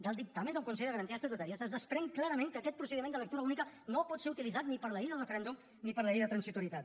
del dictamen del consell de garanties estatutàries es desprèn clarament que aquest procediment de lectura única no pot ser utilitzat ni per a la llei del referèndum ni per a la llei de transitorietat